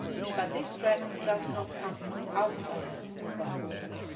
threat. But these threats do not come from outside our